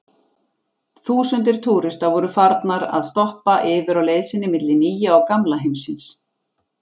Þúsundir túrista voru farnar að stoppa yfir á leið sinni milli Nýja og Gamla heimsins.